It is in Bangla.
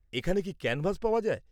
এখানে কি ক্যানভাস পাওয়া যায়?